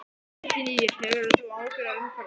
Kristín Ýr: Hefur þú áhyggjur af umhverfinu?